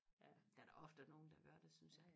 der er da ofte nogle der gør det synes jeg